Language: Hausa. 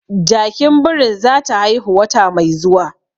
Jakin birin zata haihu wata mai zuwa